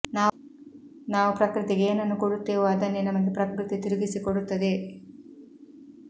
ನಾವು ಪ್ರಕೃತಿಗೆ ಏನನ್ನು ಕೊಡುತ್ತೇವೋ ಅದನ್ನೇ ನಮಗೆ ಪ್ರಕೃತಿ ತಿರುಗಿಸಿ ಕೊಡುತ್ತದೆ